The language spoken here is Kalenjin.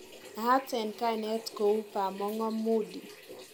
Naat en kainet kou Bamong'o Moody